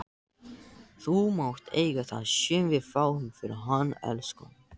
Þú mátt eiga það sem við fáum fyrir hann, elskan.